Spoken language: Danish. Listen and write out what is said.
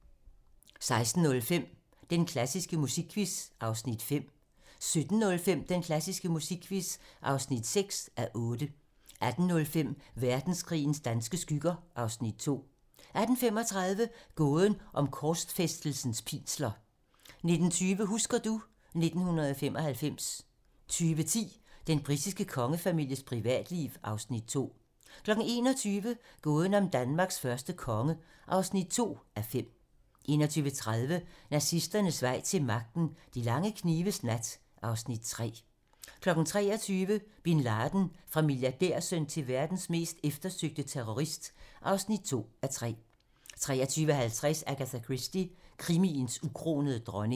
16:05: Den klassiske musikquiz (5:8) 17:05: Den klassiske musikquiz (6:8) 18:05: Verdenskrigens danske skygger (Afs. 2) 18:35: Gåden om korsfæstelsens pinsler 19:20: Husker du ... 1995 20:10: Den britiske kongefamilies privatliv (Afs. 2) 21:00: Gåden om Danmarks første konge (2:5) 21:30: Nazisternes vej til magten: De lange knives nat (Afs. 3) 23:00: Bin Laden - Fra milliardærsøn til verdens mest eftersøgte terrorist (2:3) 23:50: Agatha Christie - krimiens ukronede dronning